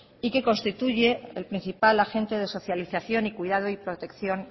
y que constituye el principal agente de socialización y cuidado y protección